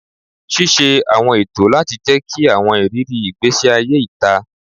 Ṣiṣe awọn eto lati jẹki awọn iriri igbesi aye ita